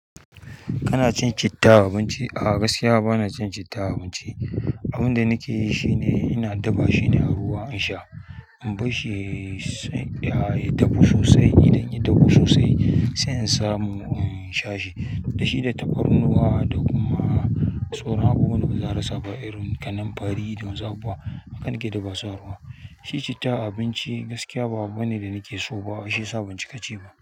Kana cin citta a abinci? A gaskiya bana cin citta abinci. Abin da nake yi shine ina dabba shine ruwa in sha. In bar shi ya dahu sosai, idan ya dahu sosai sai in samu in sha shi. Da shi da tafarnuwa da kuma tsorona. Ko wani gizar sa ba irin kalan fari don zabuwa akan ki dabba sa ruwa. Shi citta abinci gaskiya ba abu bane da nake so ba. Shi sa ban cika ce ma.